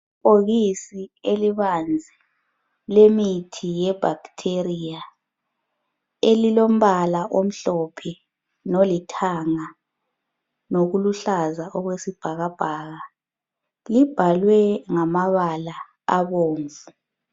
Ibhokisi elibanzi lemithi ye bacteria elilombala omhlophe lolithanga lokuluhlaza okwesibhalabhaka libhalwe ngamabala abomvu.